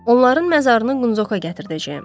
Onların məzarını Qunqoka gətirdəcəyəm.